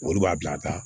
Olu b'a bila ka taa